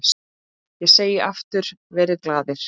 Ég segi aftur: Verið glaðir.